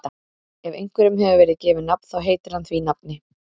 Ef einhverjum hefur verið gefið nafn þá heitir hann því nafni.